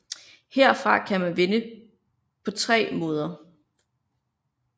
Herfra kan man vinde på tre måder